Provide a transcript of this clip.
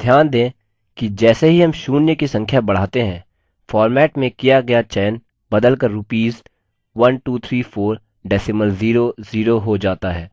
ध्यान दें कि जैसे ही हम शून्य की संख्या बढ़ाते हैं format में किया गया चयन बदल कर rupees 1234 decimal zero zero हो जाता है